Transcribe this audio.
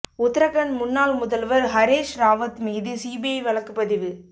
உத்தரகண்ட் முன்னாள் முதல்வர் ஹரீஷ் ராவத் மீது சிபிஐ வழக்குப் பதிவு